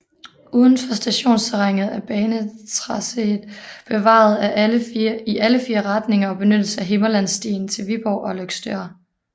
Uden for stationsterrænet er banetracéet bevaret i alle fire retninger og benyttes af Himmerlandsstien til Viborg og Løgstør